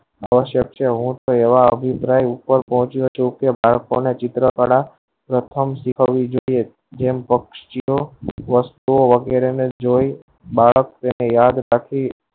નવો શક્ય છે હું એવા ઉપર પહુચ્યો છું તે ચિત્ર કળા પ્રથમ શીખવી જોયીયે એમ વસ્તુઓ એને જોયી બાળક કરે એ યાદ પછી